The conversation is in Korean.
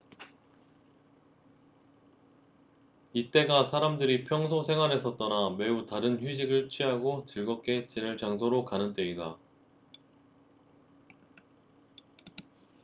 이때가 사람들이 평소 생활에서 떠나 매우 다른 휴식을 취하고 즐겁게 지낼 장소로 가는 때이다